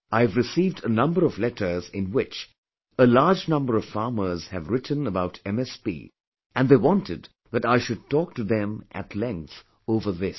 I have received a number of letters in which a large number of farmers have written about MSP and they wanted that I should talk to them at length over this